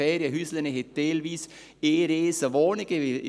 Ferienhäuser weisen teilweise eine grosse Wohnung auf.